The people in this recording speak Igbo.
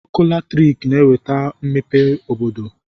Ọkụ latriki na-eweta mmepe obodo